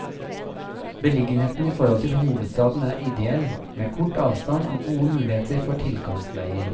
Beliggenheten i forhold til hovedstaden er ideell, med kort avstand og gode muligheter for tilkomstveier.